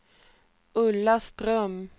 Ulla Ström